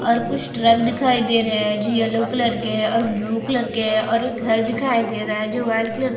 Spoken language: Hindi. और कुछ ट्रक दिखाई दे रहै है जो येलो कलर के है और ब्लू कलर के है और एक घर दिखाई दे रहा है जो व्हाईट कलर --